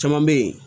Caman bɛ yen